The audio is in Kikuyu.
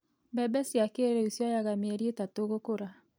Mbembe cia kĩrĩu cioyaga mĩeri itatũ gũkũra.